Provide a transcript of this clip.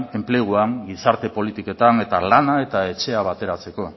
enpleguan gizarte politiketan eta lana eta etxea bateratzeko